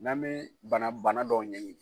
N'an mɛ bana bana dɔw ɲɛɲini.